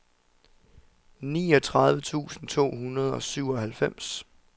niogtredive tusind to hundrede og syvoghalvfems